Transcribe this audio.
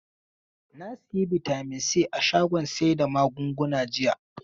Na sayi bitamin si a shagon sai da magunguna jiya.